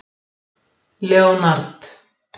Leonard